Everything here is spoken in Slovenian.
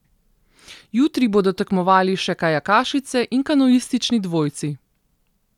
Jutri bodo tekmovali še kajakašice in kanuistični dvojci.